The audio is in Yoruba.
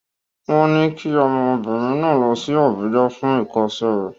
Wọ́n ní kí ọmọbìnrin náà lọ sí Àbújá fún ìkọ́ṣẹ́ rẹ̀.